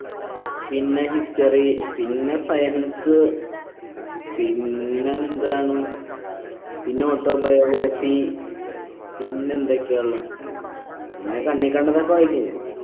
പിന്നെ history പിന്നെ പിന്നെ എന്താണ് പിന്നെ autobiography പിന്നെന്തൊക്കെയാ ഉള്ളെ പിന്നെ കണ്ണി കണ്ടതൊക്കെ വായിക്കും ഞാൻ